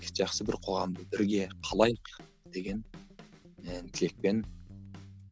жақсы бір қоғамды бірге қалайық деген і тілекпен